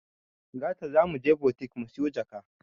Gata zamuje butik musiyo jaka